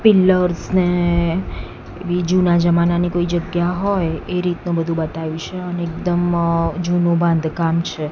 Pillars ને એવી જુના જમાનાની કોઈ જગ્યા હોય એ રીતનું વધુ બતાયુ છે અને એકદમ અ જૂનુ બાંધકામ છે.